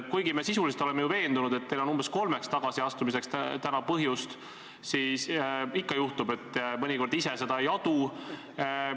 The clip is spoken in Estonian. Kuigi me sisuliselt oleme ju veendunud, et teil on täna põhjust umbes kolmeks tagasiastumiseks, siis ikka juhtub, et mõnikord inimene ise sellist asja ei adu.